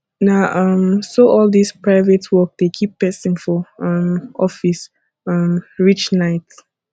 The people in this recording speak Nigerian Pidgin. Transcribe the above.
na um so all dis private work dey keep pesin for um office um reach night